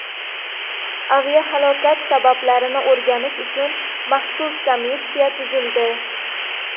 Aviahalokat sabablarini o‘rganish uchun maxsus komissiya tuzildi.